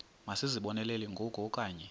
masizibonelele ngoku okanye